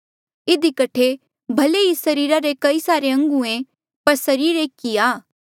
इधी कठे भले ही सरीर रे कई सारे अंग हुयें पर सरीर एक ई आ